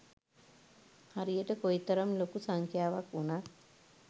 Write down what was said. හරියට කොයි තරම් ලොකු සංඛ්‍යාවක් වුණත්